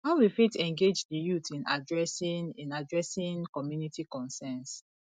how we fit engage di youth in adressing in adressing community concerns